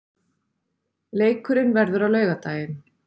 Leikurinn verður á laugardaginn.